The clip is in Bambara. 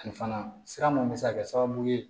Ani fana sira mun bɛ se ka kɛ sababu ye